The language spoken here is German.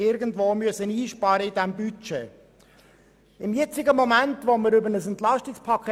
Diese muss man im Budget wieder irgendwo einsparen.